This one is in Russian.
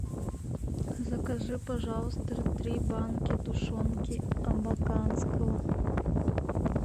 закажи пожалуйста три банки тушенки абаканского